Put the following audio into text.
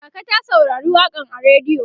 kaka ta saurari waƙan a rediyo